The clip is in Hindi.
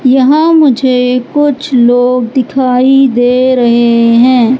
यहां मुझे कुछ लोग दिखाई दे रहे हैं।